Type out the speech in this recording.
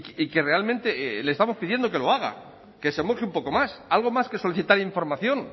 y que realmente le estamos pidiendo que lo haga que se moje un poco más algo más que solicitar información